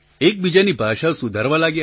એકબીજાની ભાષા સુધારવા લાગ્યા